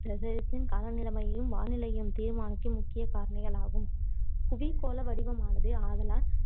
காலநிலையையும் வானிலையையும் தீர்மானிக்கும் முக்கிய காரணிகளாகும் புவி கோள வடிவமானது ஆதலால்